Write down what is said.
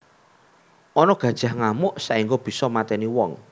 Ana gajah ngamuk saengga bisa mateni wong